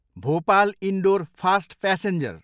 Bhopal, Indore fast passenger